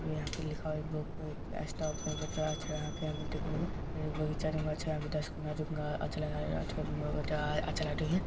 यहाँ पे लिखा है एक